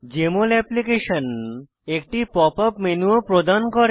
JML application একটি pop up pop up menu ও প্রদান করে